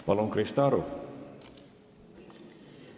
Palun, Krista Aru!